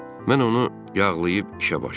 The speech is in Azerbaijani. Mən onu yağlayıb işə başladım.